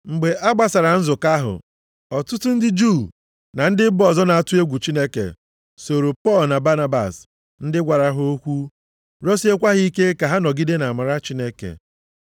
Mgbe a gbasara nzukọ ahụ, ọtụtụ ndị Juu na ndị mba ọzọ na-atụ egwu Chineke sooro Pọl na Banabas, ndị gwara ha okwu, rịọsiekwa ha ike ka ha nọgide nʼamara Chineke.